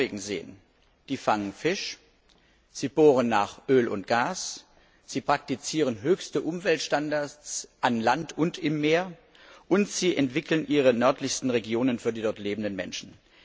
in Norwegen sehen sie fangen Fisch, sie bohren nach Öl und Gas, sie praktizieren höchste Umweltstandards an Land und im Meer und sie entwickeln ihre nördlichsten Regionen für die dort lebenden Menschen.